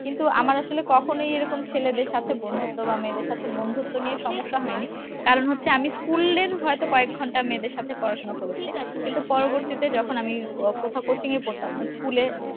কিন্তু আমার আসলে কখনোই এরকম ছেলেদের সাথে বন্ধুত্ব বা মেয়েদের সাথে বন্ধুত্ব নিয়ে সমস্যা হয়নি কারণ হচ্ছে আমি school এর হয়তো কয়েকঘন্টা মেয়েদের সাথে পড়াশোনা করেছি কিন্তু পরবর্তীতে যখন আমি আহ কোথাও coaching এ পড়তাম school এ